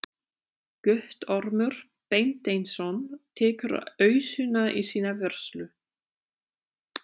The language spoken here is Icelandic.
Guttormur Beinteinsson tekur ausuna í sína vörslu.